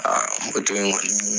in kɔni